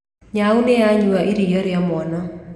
Nyaau nĩ yanyua riua rĩa mwana